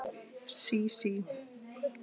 Sísí